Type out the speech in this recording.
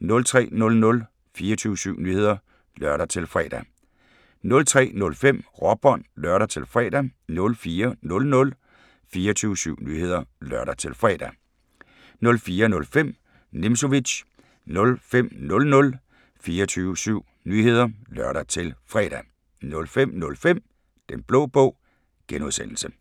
03:00: 24syv Nyheder (lør-fre) 03:05: Råbånd (lør-fre) 04:00: 24syv Nyheder (lør-fre) 04:05: Nimzowitsch 05:00: 24syv Nyheder (lør-fre) 05:05: Den Blå Bog (G)